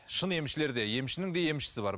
шын емшілерде емшінің де емшісі бар